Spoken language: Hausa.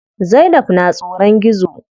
Zainab na tsoron gizo.